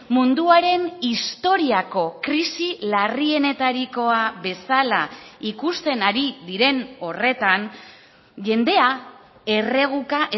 munduaren historiako krisi larrienetarikoa bezala ikusten ari diren horretan jendea erreguka